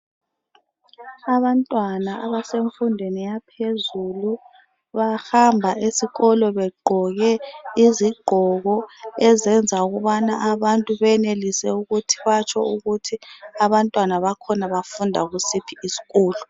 Abantwana abasemfundweni yaphezulu. Bahamba esikolo begqoke izigqoko, ezenza ukubana abantu benelise ukuthi batsho ukuthi abantwana bakhona bafunda kusiphi isikolo.